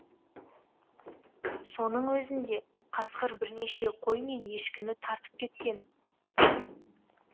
соның өзінде қасқыр бірнеше қой мен ешкіні тартып кеткен